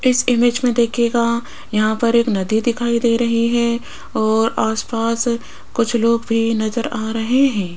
इस इमेज में देखिएगा यहां पर एक नदी दिखाई दे रही है और आसपास कुछ लोग भी नजर आ रहे हैं।